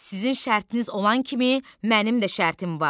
Sizin şərtiniz olan kimi, mənim də şərtim var.